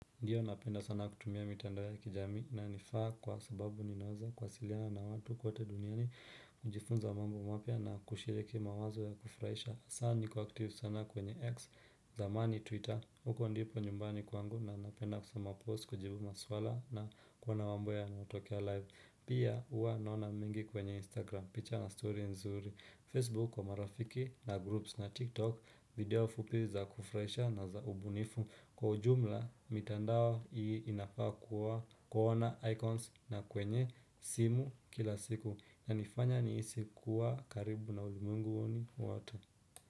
Ndiyo napenda sana kutumia mitandao ya kijamii na nifaa kwa sababu ninaweza kwasiliana na watu kote duniani kujifunza mambo mapya na kushiriki mawazo ya kufraisha Sa niko active sana kwenye X zamani Twitter huko ndipo nyumbani kwangu na napenda kusoma post, kujibu maswala na kuona mambo ya natokea live. Pia huwa naona mingi kwenye Instagram picture na story nzuri, Facebook kwa marafiki na groups na TikTok video fupi za kufraisha na za ubunifu Kwa ujumla, mitandao hii inafaa kuwa kuona icons na kwenye simu kila siku na nifanya niisi kuwa karibu na ulimunguni wote.